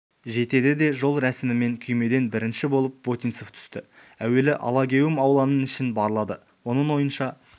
жетеді де жол рәсімімен күймеден бірінші болып вотинцев түсті әуелі алагеуім ауланың ішін барлады оның ойынша